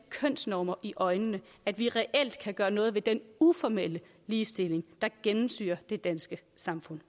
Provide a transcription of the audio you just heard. kønsnormer i øjnene at vi reelt kan gøre noget ved den uformelle mangel ligestilling der gennemsyrer det danske samfund